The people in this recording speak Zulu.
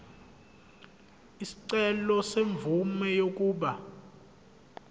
isicelo semvume yokuba